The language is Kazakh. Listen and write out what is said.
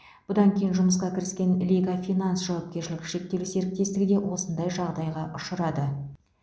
бұдан кейін жұмысқа кіріскен лига финанс жауапкершілігі шектеулі серіктестігі де осындай жағдайға ұшырады